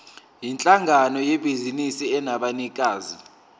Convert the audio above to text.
yinhlangano yebhizinisi enabanikazi